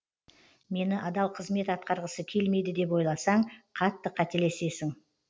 мені адал қызмет атқарғысы келмейді деп ойласаң қатты қателесесің